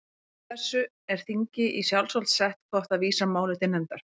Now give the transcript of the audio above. Samkvæmt þessu er þingi í sjálfsvald sett hvort það vísar máli til nefndar.